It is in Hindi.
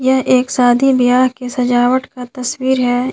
यह एक शादी वियाह की सजावट का तस्वीर है।